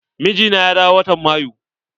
Mijina ya dawo watan Mayu.